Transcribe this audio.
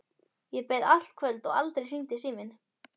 Ég beið allt kvöldið og aldrei hringdi síminn.